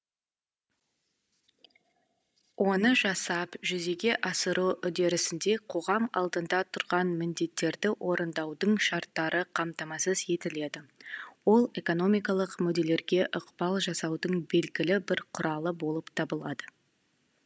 оны жасап жүзеге асыру үдерісінде қоғам алдында тұрған міндеттерді орындаудың шарттары қамтамасыз етіледі ол экономикалық мүдделерге ықпал жасаудың белгілі бір құралы болып табылады